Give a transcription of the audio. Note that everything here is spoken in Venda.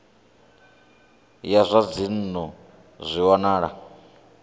ya zwa dzinnu zwi wanala